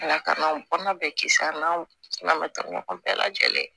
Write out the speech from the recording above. Ala ka n'an ban bɛɛ kisi an na matara ɲɔgɔn bɛɛ lajɛlen